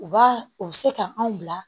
U b'a u bɛ se ka anw bila